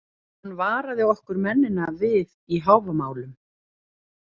Hann varaði okkur mennina við í Hávamálum.